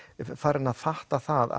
farin að fatta það